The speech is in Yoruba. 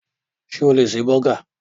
Sé o lè ṣe bọ́gà?